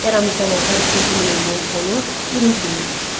Eramızdan əvvəl ikinci min illiyin sonu birinci min illik.